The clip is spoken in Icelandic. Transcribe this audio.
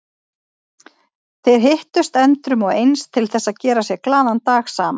Þeir hittust endrum og eins til þess að gera sér glaðan dag saman.